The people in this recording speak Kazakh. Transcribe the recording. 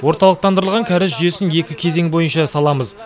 орталықтандырылған кәріз жүйесін екі кезең бойынша саламыз